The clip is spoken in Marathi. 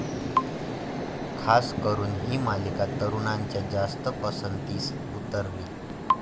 खास करून ही मालिका तरूणांच्या जास्त पसंतीस उतरली.